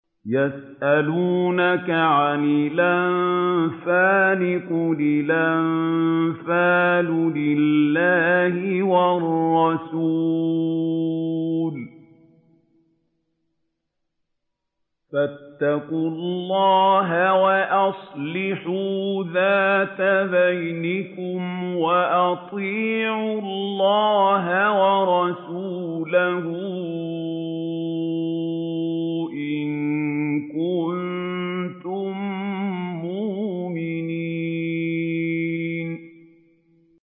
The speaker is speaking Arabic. يَسْأَلُونَكَ عَنِ الْأَنفَالِ ۖ قُلِ الْأَنفَالُ لِلَّهِ وَالرَّسُولِ ۖ فَاتَّقُوا اللَّهَ وَأَصْلِحُوا ذَاتَ بَيْنِكُمْ ۖ وَأَطِيعُوا اللَّهَ وَرَسُولَهُ إِن كُنتُم مُّؤْمِنِينَ